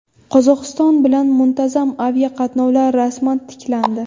Qozog‘iston bilan muntazam aviaqatnovlar rasman tiklandi.